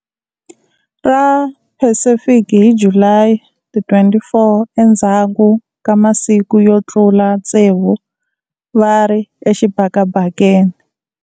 Ra Pacific hi July 24 endzhaku ka masiku yo tlula tsevu va ri exibakabakeni.